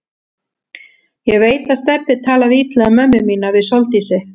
Ég veit að Stebbi talaði illa um mömmu mína við Sóldísi.